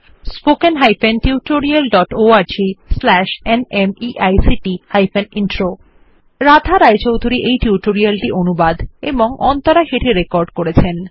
spoken hyphen tutorial dot org slash ন্মেইক্ট hyphen intro Radha এই tutorial টি অনুবাদ এবং অন্তরা সেটি রেকর্ড করেছেন